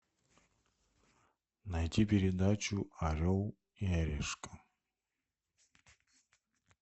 найти передачу орел и решка